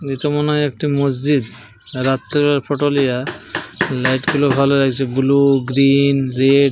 এটা মনে হয় একটি মসজিদ। রাত্রিবেলায় ফটো লিয়া। লাইট গুলো ভালো আইসে। Blue green red.